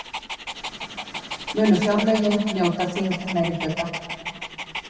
Munu fjárlögin njóta þingmeirihluta